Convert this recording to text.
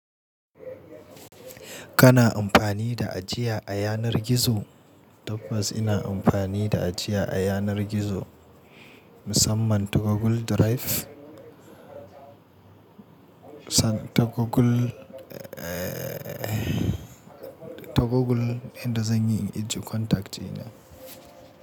Kana amfani da ajiya a yanar gizo? Tabbas ina amfani da ajiya a yanar gizo musamman ta Google Drive. San ta Google, eh ta Google inda zan yi in injicontacts dina.